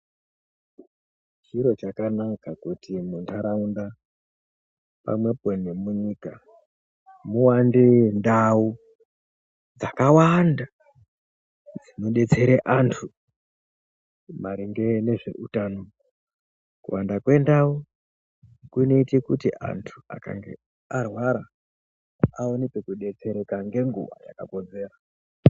Chiro chakanaka kuti munharaunda pamwepo nemunyika muwande ndau dzakawanda dzinodetsera antu maringe nezveutano kuwanda kwendau kunoite kuti antu akange arwara awone pekudetsereka ngeguwa yakakodzera.